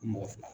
Mɔgɔ fila